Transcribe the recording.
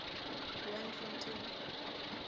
randfontein